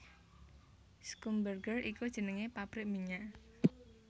Schlumberger iku jeneng pabrik minyak